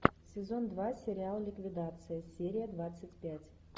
сезон два сериал ликвидация серия двадцать пять